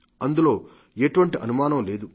అందులో ఎటువంటి అనుమానం లేదు